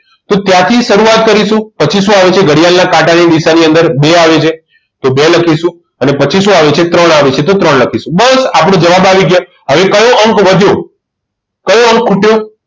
તો ત્યાંથી શરૂઆત કરીશું પછી શું આવે છે ઘડિયાળના કાંટાની દિશા ની અંદર બે આવે છે તો બે લખીશું અને પછી શું આવે છે ત્રણ આવે છે તો ત્રણ લખીશું બસ આપણા જવાબ આવી ગયા હવે કયો અંક વધ્યો કયો અંક ખૂટ્યો